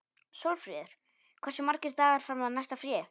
Sólfríður, hversu margir dagar fram að næsta fríi?